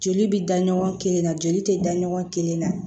Joli bɛ da ɲɔgɔn kelen na joli tɛ da ɲɔgɔn kelen na